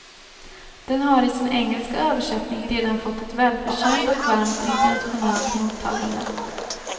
Den har i sin engelska översättning redan fått ett välförtjänt och varmt internationellt mottagande.